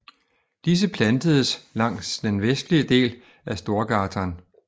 Disse plantedes langs den vestlige del af Storgatan